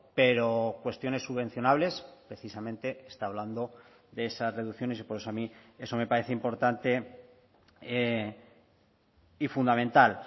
pero cuestiones subvencionables precisamente está hablando de esas reducciones y por eso a mí eso me parece importante y fundamental